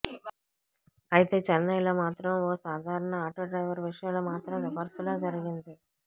అయితే చెన్నైలో మాత్రం ఓ సాధారణ ఆటో డ్రైవర్ విషయంలో మాత్రం రివర్స్ లో జరిగింది